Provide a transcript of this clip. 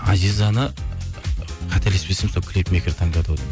азизаны қателеспесем сол клипмейкер таңдады ғой деймін